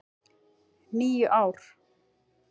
. níu ár!